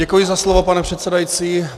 Děkuji za slovo, pane předsedající.